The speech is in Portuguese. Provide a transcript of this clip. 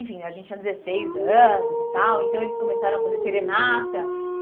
Enfim, a gente tinha dezesseis anos e tal, então eles começaram a fazer serenata.